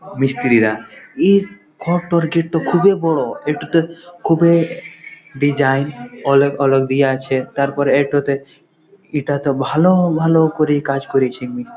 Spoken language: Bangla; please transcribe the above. মিস্ত্রিরা এ ঘরটর গেট -ট খুবই বড়এটোতে খুবএ ডিজাইন অলগ অলগ দিয়া আছে তারপর এটতে এটাতে ভালো ভালো করে কাজ করেছে মিস্ত্রি--